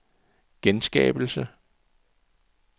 genskabelse